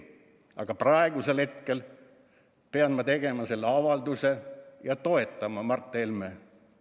Aga praegusel hetkel pean ma tegema selle avalduse ja toetama Mart Helmet.